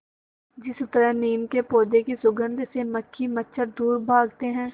जिस तरह नीम के पौधे की सुगंध से मक्खी मच्छर दूर भागते हैं